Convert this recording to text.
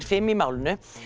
fimm í málinu